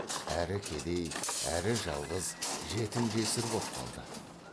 әрі кедей әрі жалғыз жетім жесір боп қалды